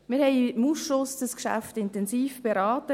Wir haben das Geschäft im Ausschuss intensiv beraten.